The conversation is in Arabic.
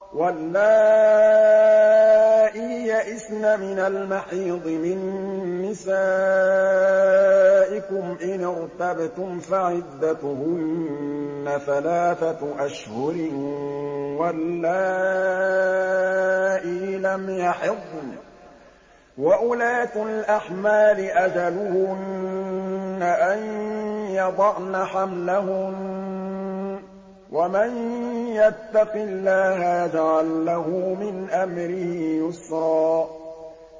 وَاللَّائِي يَئِسْنَ مِنَ الْمَحِيضِ مِن نِّسَائِكُمْ إِنِ ارْتَبْتُمْ فَعِدَّتُهُنَّ ثَلَاثَةُ أَشْهُرٍ وَاللَّائِي لَمْ يَحِضْنَ ۚ وَأُولَاتُ الْأَحْمَالِ أَجَلُهُنَّ أَن يَضَعْنَ حَمْلَهُنَّ ۚ وَمَن يَتَّقِ اللَّهَ يَجْعَل لَّهُ مِنْ أَمْرِهِ يُسْرًا